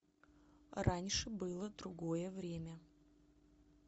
раньше было другое время